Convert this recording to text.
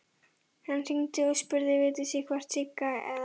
Hann hringdi og spurði Vigdísi hvort Sigga eða